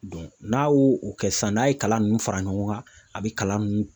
n'a y'o o kɛ sisan, n'a ye kalan ninnu fara ɲɔgɔn kan , a bɛ kalan ninnu